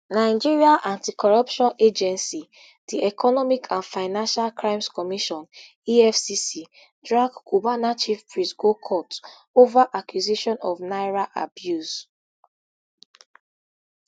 nigeria anticorruption agency di economic and financial crimes commission efcc drag cubana chief priest go court ova accusation of naira abuse